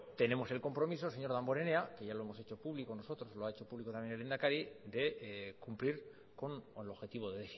tenemos el compromiso señor damborenea que ya lo hemos hecho público nosotros lo ha hecho público también el lehendakari de cumplir con el objetivo de